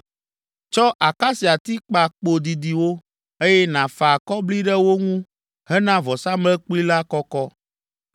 Tsɔ akasiati kpa kpo didiwo, eye nàfa akɔbli ɖe wo ŋu hena vɔsamlekpui la kɔkɔ.